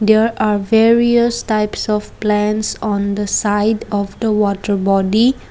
here are various types of plants on the side of the water body.